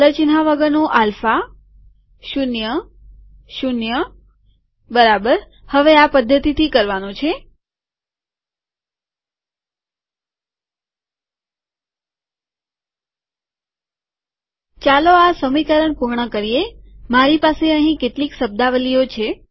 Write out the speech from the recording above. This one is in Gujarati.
ચાલો આ સમીકરણ પૂર્ણ કરીએમારી પાસે અહીં કેટલીક શબ્દાવલીઓ છે